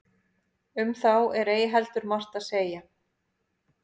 um þá er ei heldur margt að segja